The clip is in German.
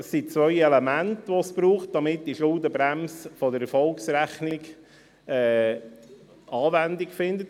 Es braucht zwei Elemente, damit die Schuldenbremse der Erfolgsrechnung Anwendung findet.